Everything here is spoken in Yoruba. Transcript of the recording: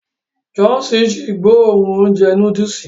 Johnson ji gbóòórùn ounjẹ núdùùsì.